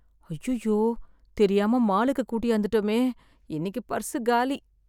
அய்யயோ தெரியாம மாலுக்கு கூட்யாந்துட்டோமே, இன்னிக்கு பர்ஸ் காலி.